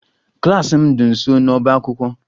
Klas m dị nso n'ọbá akwụkwọ